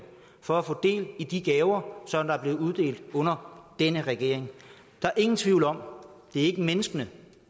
for at få del i de gaver som der bliver uddelt under denne regering der er ingen tvivl om det ikke er menneskene